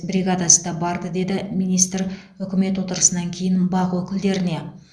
бригадасы да барды деді министр үкімет отырысынан кейін бақ өкілдеріне